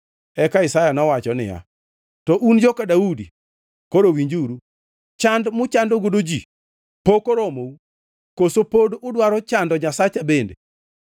Eka Isaya nowacho niya, “To un joka Daudi, koro winjuru! Chand muchandogo ji pok oromou? Koso pod udwaro chando Nyasacha bende?